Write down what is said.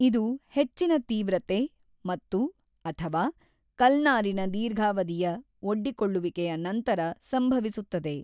ಇದು ಹೆಚ್ಚಿನ ತೀವ್ರತೆ ಮತ್ತು/ಅಥವಾ ಕಲ್ನಾರಿನ ದೀರ್ಘಾವಧಿಯ ಒಡ್ಡಿಕೊಳ್ಳುವಿಕೆಯ ನಂತರ ಸಂಭವಿಸುತ್ತದೆ.